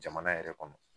Jamana yɛrɛ kɔnɔ